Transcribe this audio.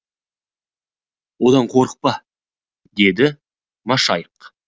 одан қорықпа деді машайық